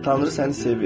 Tanrı səni sevir.